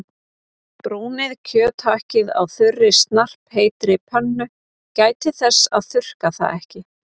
Brúnið kjöthakkið á þurri snarpheitri pönnu- gætið þess að þurrka það ekki.